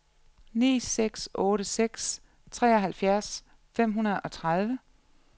ni seks otte seks treoghalvfjerds fem hundrede og tredive